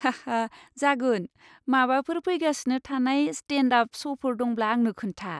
हा हा जागोन! माबाफोर फैगासिनो थानाय स्टेन्ड आप श'फोर दंब्ला आंनो खोन्था।